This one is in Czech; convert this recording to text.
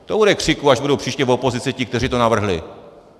To bude křiku, až budou příště v opozici ti, kteří to navrhli!